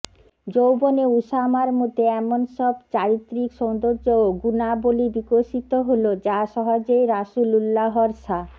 যৌবনে উসামার মধ্যে এমন সব চারিত্রিক সৌন্দর্য ও গুণাবলী বিকশিত হলো যা সহজেই রাসূলুল্লাহর সা